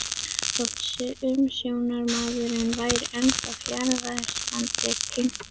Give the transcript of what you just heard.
Þótt umsjónarmaðurinn væri ennþá fjarverandi kinkaði